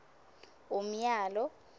umyalo